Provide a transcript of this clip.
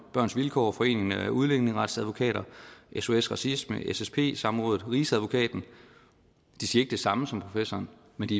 børns vilkår foreningen af udlændingeretsadvokater sos racisme ssp samrådet og rigsadvokaten de siger det samme som professoren men de